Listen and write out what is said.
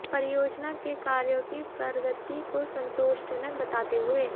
परियोजना के कार्यों की प्र्रगति को संतोषजनक बताते हुए